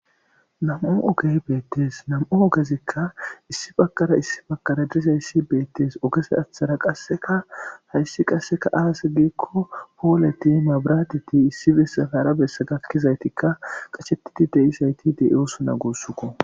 Nam'u ogey beettes nam'u ogezekka issi bakara issi bakara dirizayssi beettes ogese aththara qasseka hayssi qasseka aase geekko pooleti mabraatiti issi bessafaara bessa gakkizaytikka qacshetiti deizayti de'iosuna guussuko.